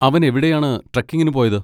അവൻ എവിടെയാണ് ട്രെക്കിങ്ങിന് പോയത്?